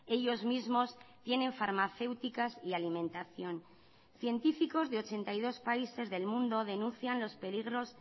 ellos mismos tienen farmacéuticas y alimentación científicos de ochenta y dos países del mundo denuncian los peligros